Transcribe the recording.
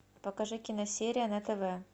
покажи киносерия на тв